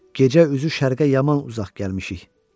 Gecə üzü şərqə yaman uzaq gəlmişik.